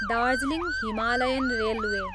Darjeeling Himalayan railway